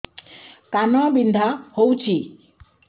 କାନ ବିନ୍ଧା ହଉଛି